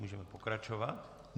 Můžeme pokračovat.